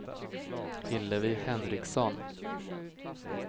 Hillevi Henriksson